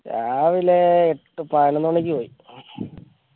രാവിലെ എട്ട് പതിനൊന്ന് മണിക്ക് പോയി